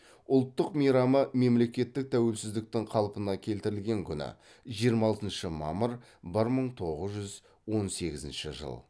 ұлттық мейрамы мемлекеттің тәуелсіздіктің қалпына келтірілген күні